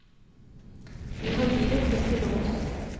Vi har livet kun til låns.